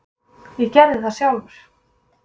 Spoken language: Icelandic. Ég gerði það sjálfur.